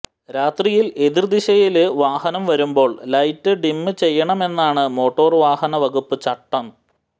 രാത്രിയിൽ എതിര്ദിശയില് വാഹനം വരുമ്പോൾ ലൈറ്റ് ഡിം ചെയ്യണമെന്നാണ് മോട്ടോര് വാഹനവകുപ്പ് ചട്ടം